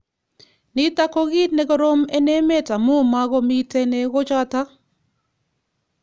Nitok ko kit negorom eng emet amu makomitei negochotok.